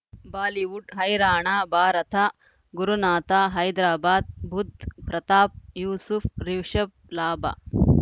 Bollywood ಹೈರಾಣ ಭಾರತ ಗುರುನಾಥ ಹೈದರಾಬಾದ್ ಬುಧ್ ಪ್ರತಾಪ್ ಯೂಸುಫ್ ರಿಷಬ್ ಲಾಭ